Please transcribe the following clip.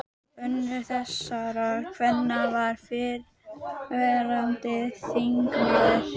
Önnur þessara kvenna var fyrrverandi þingmaður.